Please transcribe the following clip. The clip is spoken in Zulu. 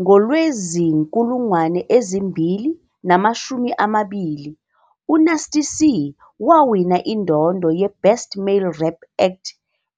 NgoLwezi 2020, uNasty C wawina indondo yeBest Male Rap Act